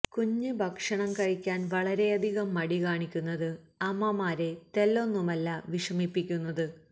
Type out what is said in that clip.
കുഞ്ഞ് ഭക്ഷണം കഴിക്കാന് വളരെയധികം മടി കാണിക്കുന്നത് അമ്മമാരെ തെല്ലൊന്നുമല്ല വിഷമിപ്പിക്കുന്നത്